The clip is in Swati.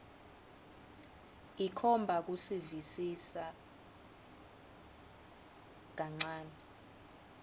ikhomba kusivisisa kancane